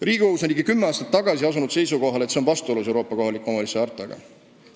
Riigikohus on ligi kümme aastat tagasi asunud seisukohale, et see on vastuolus Euroopa kohaliku omavalitsuse hartaga.